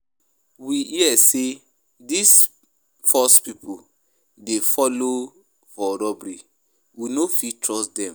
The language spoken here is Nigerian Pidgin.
We hear sey dese force pipo dey folo for robbery, we no fit trust dem.